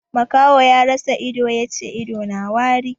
Makaho ya rasa ido ya ce ido na wari.